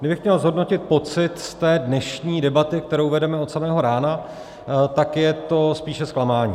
Kdybych měl zhodnotit pocit z té dnešní debaty, kterou vedeme od samého rána, tak je to spíše zklamání.